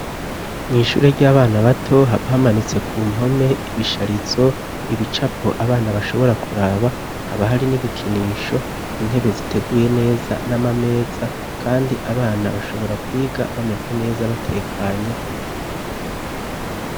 Mu ishure ry'abana bato haba hamanitse ku mpome ibisharizo ibicapo abana bashobora kuraba haba hari n'ibikinisho intebe ziteguye neza n'amameza kandi abana bashobora kwiga bameze neza batekanye.